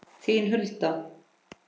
Þín, Hulda.